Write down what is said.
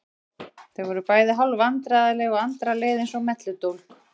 Þau voru bæði hálf vandræðaleg og Andra leið eins og melludólg.